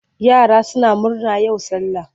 Yara suna murna yau sallah.